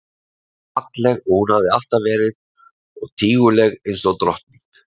Eins falleg og hún hafði alltaf verið og tíguleg einsog drottning.